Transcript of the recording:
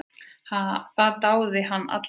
Það dáði hann alla tíð.